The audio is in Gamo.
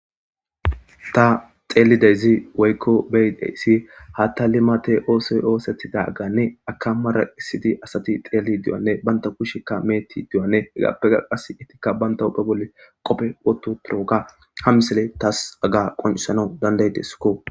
Tha xeellida izi woykko be7ida isi haathhthaa limaathe oosoy ooseththidaagaanne akka maraqissidi asathi xeelliidi diyoogaanne banththa kushekkka meeththiddi diyoogaanne hegaappekka qassi ethikka banththa huuphe bolli qophe woththi uththiroogaa ha misilee thaas haga qonccissanas danddayides koo.